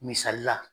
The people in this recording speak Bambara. Misali la